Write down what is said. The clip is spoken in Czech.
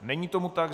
Není tomu tak.